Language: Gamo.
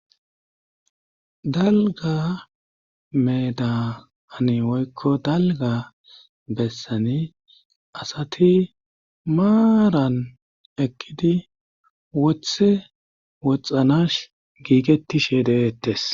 Dalga meeda ani woykko dalga bessani asati maaran ekkidi wothe woxxanash giigettishe deettes